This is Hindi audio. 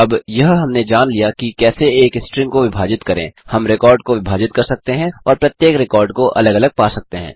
अब यह हमने जान लिया कि कैसे एक स्ट्रिंग को विभाजित करें हम रिकॉर्ड को विभाजित कर सकते हैं और प्रत्येक रिकॉर्ड को अलग अलग पा सकते हैं